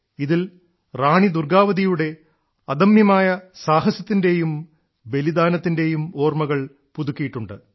ഇതിൽ റാണി ദുർഗ്ഗാവതിയുടെ അദമ്യമായ സാഹസത്തിന്റെയും ബലിദാനത്തിന്റെയും ഓർമ്മകൾ പുതുക്കിയിട്ടുണ്ട്